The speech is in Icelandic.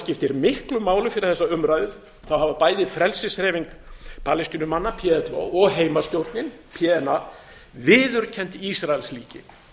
skiptir miklu máli fyrir þessa umræðu hafa bæði frelsishreyfing palestínumanna plo og heimastjórnin pna viðurkennt ísraelsríki